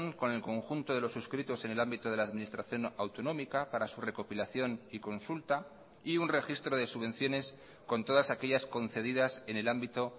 con el conjunto de los suscritos en el ámbito de la administración autonómica para su recopilación y consulta y un registro de subvenciones con todas aquellas concedidas en el ámbito